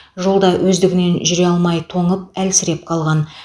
жолда өздігінен жүре алмай тоңып әлсіреп қалған